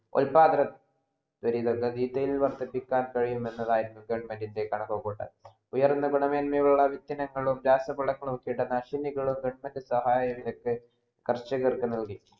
ഉതപാതനം വർധിക്കാൻ കഴിമെന്നാണ് government ഇൻ്റെ കണക്കു കൂട്ടൽ ഉയർന്ന ഗുണമേന്മയുള്ള വിത്തുകളും രാസപദാർത്ഥങ്ങളും കിടനാശികളും government സഹയായി വെച്ച് കർഷകർക്ക് നൽകി